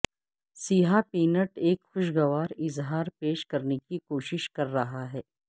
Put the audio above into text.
سیاہ پینٹ ایک خوشگوار اظہار پیش کرنے کی کوشش کر رہا ہے